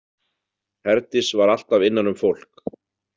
Herdís var alltaf innan um fólk.